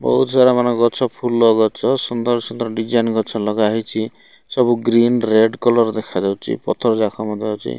ବହୁତ ସାରା ମାନ ଗଛ ଫୁଲ ଗଛ ସୁନ୍ଦର ସୁନ୍ଦର ଡିଜାଇନ ଗଛ ଲଗା ହେଇଚି ସବୁ ଗ୍ରୀନ୍ ରେଡ୍ କଲର ଦେଖାଯାଉଚି ପଥର ଯାକ ମାନ ମଧ୍ୟ ଅଛି।